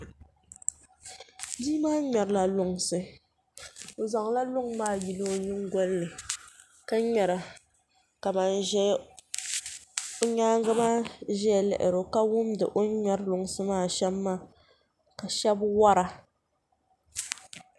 Bia maa ŋmɛrila lunsi o zaŋla luŋ maa yili o nyingoli ni ka ŋmɛra ka ban ƶɛ o nyaangi maa ʒɛya lihiro ka wundi o ni ŋmɛri lunsi maa shɛm maa ka shab wora